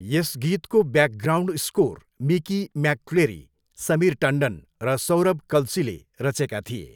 यस गीतको background score Mickey McCleary, Samir Tandon र सौरभ कल्सीले रचेका थिए।